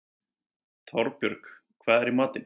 Torbjörg, hvað er í matinn?